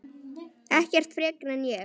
Ekkert frekar en ég.